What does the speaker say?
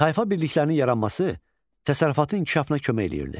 Tayfa birliklərinin yaranması təsərrüfatın inkişafına kömək eləyirdi.